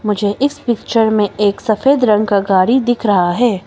मुझे इस पिक्चर में एक सफेद रंग का गाड़ी दिख रहा है।